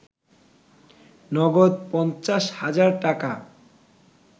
নগদ ৫০ হাজার টাকা